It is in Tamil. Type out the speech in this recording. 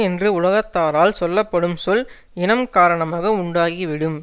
என்று உலகத்தாரால் சொல்ல படும் சொல் இனம் காரணமாக உண்டாகிவிடும்